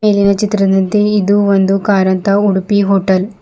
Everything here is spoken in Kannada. ಇಲ್ಲಿನ ಚಿತ್ರದಂತೆ ಇದು ಒಂದು ಕಾರಂತ ಉಡುಪಿ ಹೋಟೆಲ್ .